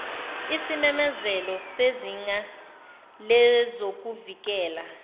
isimemezelo sezinga lezokuvikela